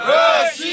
Rusiya!